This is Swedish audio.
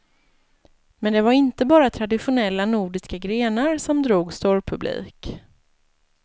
Men det var inte bara traditonella nordiska grenar som drog storpublik.